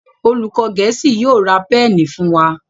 olùkó gèésì yóò rá Pẹ́ẹ̀nì fún wá.